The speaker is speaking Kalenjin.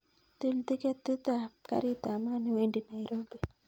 Til tiketit ap karit ap maat newendi nairobi